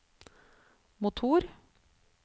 motor